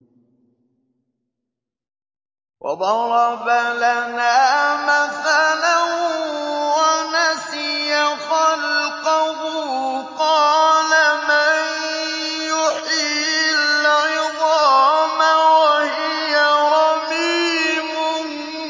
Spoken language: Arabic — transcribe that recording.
وَضَرَبَ لَنَا مَثَلًا وَنَسِيَ خَلْقَهُ ۖ قَالَ مَن يُحْيِي الْعِظَامَ وَهِيَ رَمِيمٌ